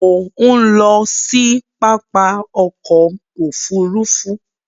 Mo ń lọ sí pápá ọkọ òfúrúúfú